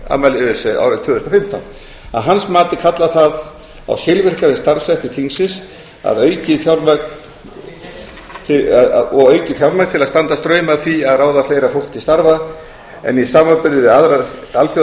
afmælis öse árið tvö þúsund og fimmtán að hans mati kallar það á skilvirkari starfshætti þingsins og aukið fjármagn til að standa straum af því að ráða fleira fólk til starfa en í samanburði við aðrar